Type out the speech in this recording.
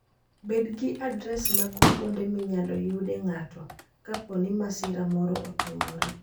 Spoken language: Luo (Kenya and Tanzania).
Bed gi adres mag kuonde minyalo yude ng'ato kapo ni masira moro otimore.